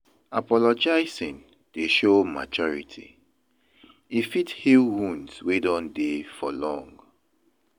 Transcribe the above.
Apologizing dey show maturity; e fit heal wounds wey don dey for long.